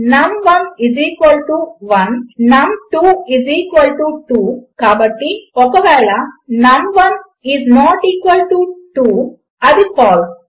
num11 నమ్2 2 కాబట్టి ఒకవేళ num 1 is not equal to 1 అది ఫాల్సే